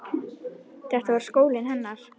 Þetta var skólinn hennar.